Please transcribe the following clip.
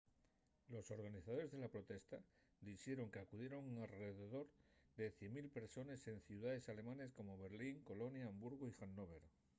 los organizadores de la protesta dixeron qu’acudieron alredor de 100.000 persones en ciudaes alemanes como berlín colonia hamburgu y hannover